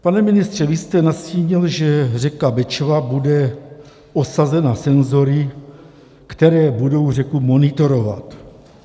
Pane ministře, vy jste nastínil, že řeka Bečva bude osazena senzory, které budou řeku monitorovat.